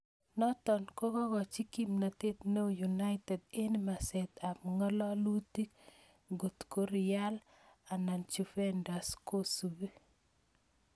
Noto kokochin kimnatet neo United eng meset ab ngalalutuk ngotko Real anan Juventus kosubi.